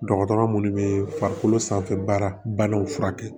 Dɔgɔtɔrɔ munnu bɛ farikolo sanfɛ baaraw furakɛ